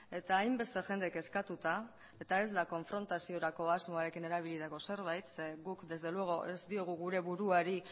eta hainbeste jende eskatuta eta ez da konfrontaziorako asmoekin erabilitako zerbait zeren eta guk desde luego ez diogu gure buruari